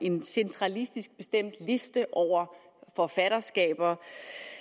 en centralistisk bestemt liste over forfatterskaber